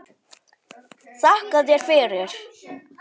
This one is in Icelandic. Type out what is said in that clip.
Þakka þér fyrir